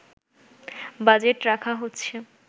budget রাখা হচ্ছে